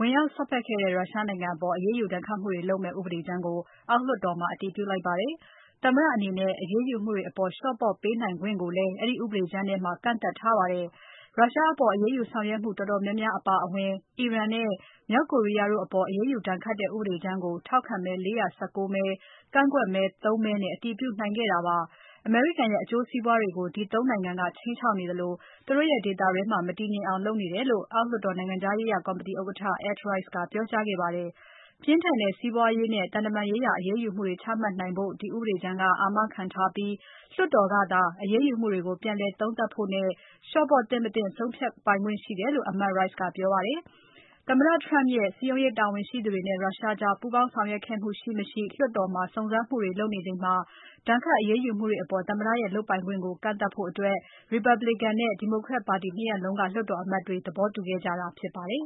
ဝင်ရောက် စွက်ဖက်ခဲ့တဲ့ ရုရှားနိုင်ငံ အပေါ် အရေးယူ ဒဏ်ခတ်မှုတွေ လုပ်မယ့် ဥပဒေကြမ်းကို အောက်လွှတ်တော်မှာ အတည်ပြုလိုက်ပါတယ်။ သမ္မတအနေနဲ့ အရေးယူမှုတွေ အပေါ် လျော့ပေါ့ပေးနိုင်ခွင့်ကိုလည်း အဲဒ ီ ဥပဒေကြမ်းထဲမှာ ကန့်သတ်ထားပါတယ်။ ရုရှားအပေါ် အရေးယူ ဆောင်ရွက်မှု တော်တော်များများ အပါအဝင် အီရန်နဲ့ မြောက်ကိုရီးယားတို့ အပေါ် အရေးယူ ဒဏ်ခတ်တဲ့ ဥပဒေကြမ်းကို ထောက်ခံမဲ ၄၁၉ မဲ ကန့်ကွက်မဲ ၃ မဲနဲ့ အတည်ပြုနိုင်ခဲ့တာပါ။ အမေရိကန်ရဲ့ အကျိုးစီးပွားတွေကို ဒီ ၃ နိုင်ငံက ခြိမ်းခြောက်နေသလို သူတို့ရဲ့ ဒေသတွင်းမှာ မတည်ငြိမ်အောင် လုပ်နေတယ်လို့ အောက်လွှတ်တော် နိုင်ငံခြားရေးရာ ကော်မတီဥက္ကဋ္ဌ Ed Royce ကပြောကြားခဲ့ပါတယ်။ ပြင်းထန်တဲ့ စီးပွားရေးနဲ့ သံတမန်ရေးရာ အရေးယူမှုတွေ ချမှတ်နိုင်ဖို့ ဒီဥပဒေကြမ်းက အာမခံထားပြီး လွှတ်တော်ကသာ အရေးယူမှုတွေကို ပြန်လည်သုံးသပ်ဖို့နဲ့ လျှော့ပေါ့သင့် မသင့်ဆုံးဖြတ်ခွင့်ရှိတယ်လို့ အမတ် Royce ကပြောပါတယ်။ သမ္မတ Trump ရဲ့ စည်းရုံးရေး တာဝန်ရှိသူတွေနဲ့ ရုရှားကြား ပူးပေါင်းဆောင်ရွက်ခဲ့မှု ရှိ၊ မရှိ လွှတ်တော်မှာ စုံစမ်းမှုတွေ လုပ်နေချိန်မှာ ဒဏ်ခတ်အရေးယူမှုတွေ အပေါ် သမ္မတရဲ့ လုပ်ပိုင်ခွင့်ကို ကန့်သတ်ဖို့ Republican နဲ့ Democrat ပါတီ ၂ ရပ်လုံးက လွှတ်တော်အမတ်တွေ သဘောတူခဲ့ကြတာ ဖြစ်ပါတယ်